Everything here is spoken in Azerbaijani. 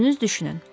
Özünüz düşünün.